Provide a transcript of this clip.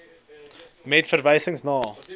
met verwysing na